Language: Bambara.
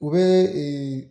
O be ee